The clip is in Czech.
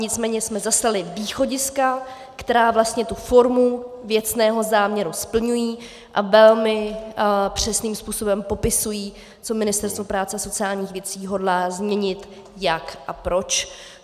Nicméně jsme zaslali východiska, která vlastně tu formu věcného záměru splňují a velmi přesným způsobem popisují, co Ministerstvo práce a sociálních věcí hodlá změnit, jak a proč.